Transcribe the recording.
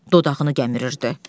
Dodağını gəmirirdi.